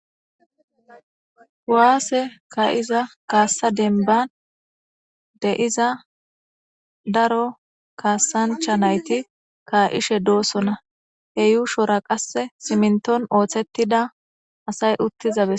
Kuwase kaiza kasa demibbani deiza daro kasanichcha nayiti kaishe dossona he yushora qase simminittoni othetida asayi utiza besa